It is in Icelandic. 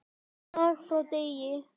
Dag frá degi.